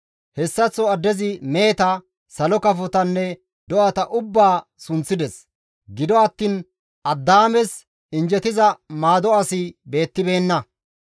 Hessaththo addezi meheta, salo kafotanne, do7ata ubbaa sunththides; gido attiin Addaames injjetiza maado asi beettibeenna.